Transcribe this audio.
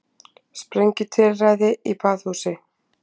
Sprengjutilræði í baðhúsi